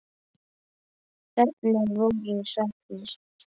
Hvernig voru sagnir?